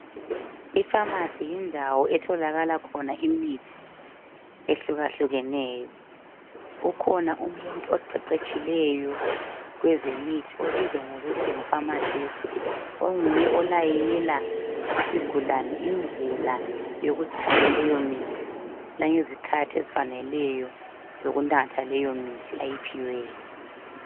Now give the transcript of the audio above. Ipharnacy yindawo etholakala khona imithi ehlukahlukeneyo ukhona umuntu oqeqetshileyo kwezemithi obizwa kuthiwe ngu pharmacist onguye olayela isigulane indlela yokuthatha leyo mithi langezikhathi ezifaneleyo zokunatha leyo mithi.